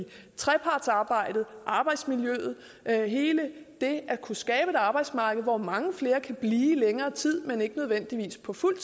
trepartsarbejdet arbejdsmiljøet hele det at kunne skabe et arbejdsmarked hvor mange flere kan blive længere tid men ikke nødvendigvis på fuld